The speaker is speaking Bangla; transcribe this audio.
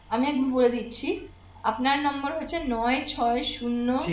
আমি একবার বলে দিচ্ছি আপনার number হচ্ছে নয় ছয় শূন্য